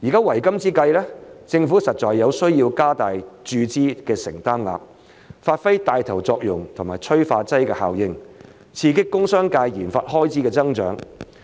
為今之計，政府實在有需要加大注資的承擔額，發揮帶頭作用和催化劑效應，刺激工商界研發開支的增長。